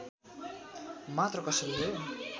मात्र कसरी हो